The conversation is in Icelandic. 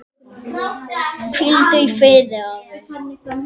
Hvíldu í friði afi.